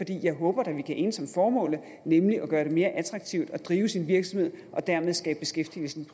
jeg håber da at vi kan enes om formålet nemlig at gøre det mere attraktivt at drive sin virksomhed og dermed skabe beskæftigelse